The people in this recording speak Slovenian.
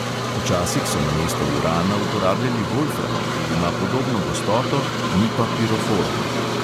Včasih so namesto urana uporabljali volfram, ki ima podobno gostoto, ni pa piroforen.